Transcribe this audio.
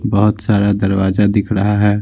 बहुत सारा दरवाजा दिख रहा है।